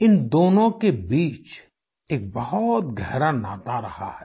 इन दोनों के बीच एक बहुत गहरा नाता रहा है